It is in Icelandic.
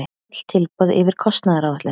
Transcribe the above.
Öll tilboð yfir kostnaðaráætlun